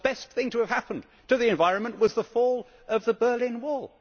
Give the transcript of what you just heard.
The best thing to have happened to the environment was the fall of the Berlin Wall.